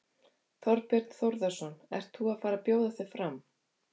Þorbjörn Þórðarson: Ert þú að fara bjóða þig fram?